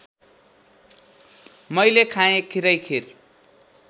मैले खाँए खिरैखिर